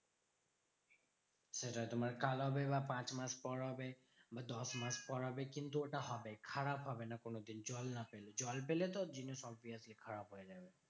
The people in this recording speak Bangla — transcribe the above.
সেটা তোমার তোমার কাল হবে। বা পাঁচ মাস পর হবে। দশ মাস পর হবে। কিন্তু ওটা হবে। খারাপ হবে না কোনোদিন জল না পেলে। জল পেলে তো জিনিস obviously খারাপ হয়ে যাবে।